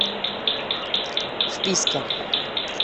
вписка